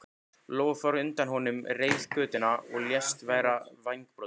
Lóa fór á undan honum reiðgötuna og lést vera vængbrotin.